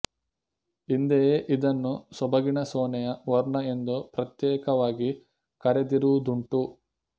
ಹಿಂದೆಯೇ ಇದನ್ನು ಸೊಬಗಿನ ಸೋನೆಯ ವರ್ಣ ಎಂದು ಪ್ರತ್ಯೇಕವಾಗಿ ಕರೆದಿರುವುದುಂಟು